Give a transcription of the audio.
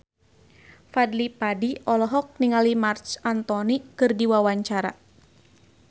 Fadly Padi olohok ningali Marc Anthony keur diwawancara